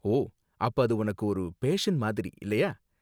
ஓ, அப்ப அது உனக்கு ஒரு பேஷன் மாதிரி, இல்லையா?